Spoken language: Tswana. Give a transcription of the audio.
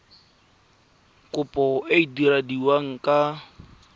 kopo e e diragadiwa ka